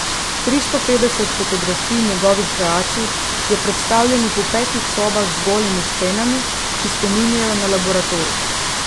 Tristo petdeset fotografij njegovih kreacij je predstavljenih v petih sobah z golimi stenami, ki spominjajo na laboratorij.